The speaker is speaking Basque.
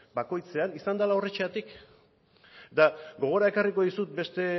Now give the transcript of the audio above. bakoitzean izan dela horrexegatik eta gogora ekarriko dizut beste